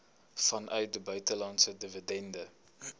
vanuit buitelandse dividende